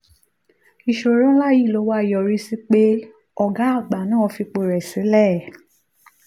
ìṣòro ńlá yìí ló wá yọrí sí pé ọ̀gá àgbà náà fi ipò rẹ̀ sílẹ̀.